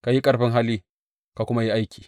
Ka yi ƙarfin hali ka kuma yi aiki.